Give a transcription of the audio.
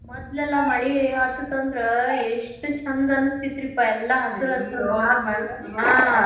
ಮದ್ಲೆಲ್ಲಾ ಮಳಿ ಹತ್ತತಂದ್ರ ಎಷ್ಟ್ ಚಂದ ಅನಿಸ್ತಿತ್ರಿಪಾ ಎಲ್ಲಾ ಹಸರ್ ಹಸರ್ .